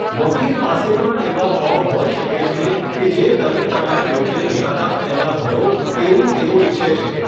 વકીલ પાસે પણ એવા ફોર્મ હોઈ શકે છે કે જે તમે તમારી યોજેલ મુલાકાત પહેલા ભરો તેવું તેઓ ઈચ્છે છે.